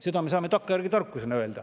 Seda me saame takkajärgi tarkusena öelda.